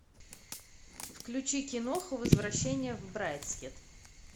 включи киноху возвращение в брайдсхед